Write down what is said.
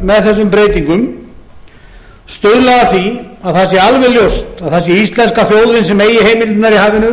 með þessum breytingum stuðla að því að það sé alveg ljóst að það sé íslenska þjóðin sem eigi heimildirnar í hafinu